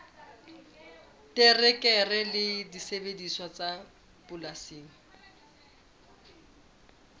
terekere le disebediswa tsa polasing